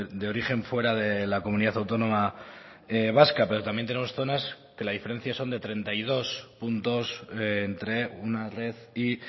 de origen fuera de la comunidad autónoma vasca pero también tenemos zonas que la diferencia son de treinta y dos puntos entre una red y